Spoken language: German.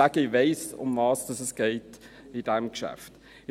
Ich weiss, worum es bei diesem Geschäft geht.